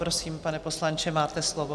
Prosím, pane poslanče, máte slovo.